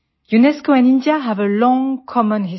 UNESCO and India have a long common history